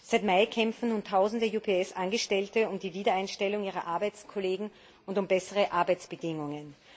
Seit Mai kämpfen nun tausende UPS Angestellte für die Wiedereinstellung ihrer Arbeitskollegen und für bessere Arbeitsbedingungen.